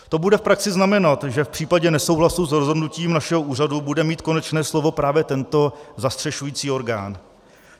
To bude v praxi znamenat, že v případě nesouhlasu s rozhodnutím našeho úřadu bude mít konečné slovo právě tento zastřešující orgán.